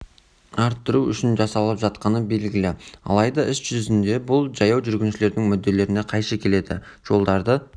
арттыру үшін жасалып жатқаны белгілі алайда іс жүзінде бұл жаяу жүргіншілердің мүдделеріне қайшы келеді жолдарды